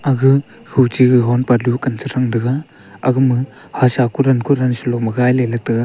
aga huchi honpa dukan ta thang taiga aga ma ko dan ko dan te.